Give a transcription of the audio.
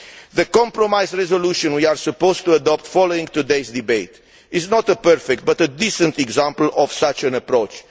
The compromise resolution we are supposed to be adopting following today's debate is not a perfect but a decent example of such an approach.